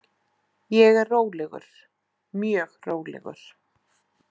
Ég er rólegur, mjög rólegur.